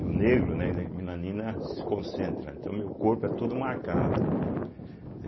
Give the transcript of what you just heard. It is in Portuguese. E o negro, né, a melanina se concentra, então meu corpo é todo marcado, né.